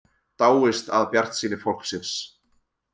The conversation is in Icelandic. Dáist að bjartsýni fólksins